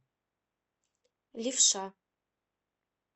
левша